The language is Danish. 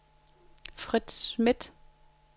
Frits Schmidt